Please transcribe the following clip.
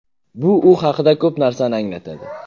Bu u haqida ko‘p narsani anglatadi”.